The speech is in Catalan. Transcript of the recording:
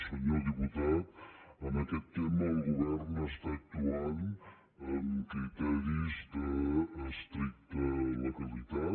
senyor diputat en aquest tema el govern està actuant amb criteris d’estricta legalitat